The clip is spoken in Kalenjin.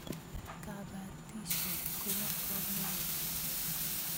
Kapatisyet kopo kamonut.